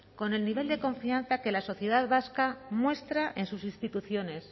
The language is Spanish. con el nivel de confianza que la sociedad vasca muestra en sus instituciones